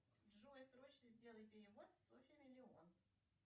джой срочно сделай перевод софье миллион